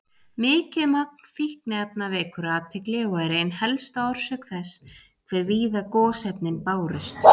Mikið magn fínefna vekur athygli og er ein helsta orsök þess hve víða gosefnin bárust.